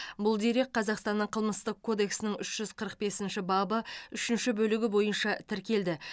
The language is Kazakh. бұл дерек қазақстанның қылмыстық кодексінің үш жүз қырық бесінші бабы үшінші бөлігі бойынша тіркелді